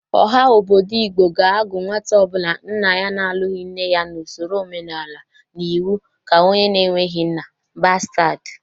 Ọha obodo Igbo ga-agụ nwata ọbụla nna ya na-alụghị nne ya n'osoro omenala na iwu ka onye na-eweghi nna: bastad.